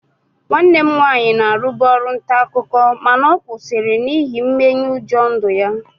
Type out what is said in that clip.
Nwanne m nwaanyị na-arụbu ọrụ nta akụkọ mana ọ kwụsịrị n'ihi mmenyeụjọ ndụ ya